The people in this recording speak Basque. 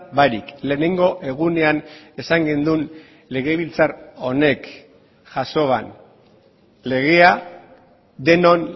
barik lehenengo egunean esan genuen legebiltzar honek jasoan legea denon